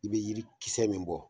I bɛ jiri kisɛ min bɔ